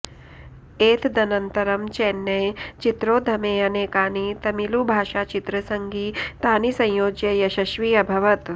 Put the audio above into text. एतदनन्तरं चेन्नै चित्रोद्यमे अनेकानि तमिळुभाषाचित्रसङ्गीतानि संयोज्य यशस्वी अभवत्